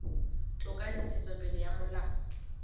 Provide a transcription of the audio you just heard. toka le ntshetsopele ya molao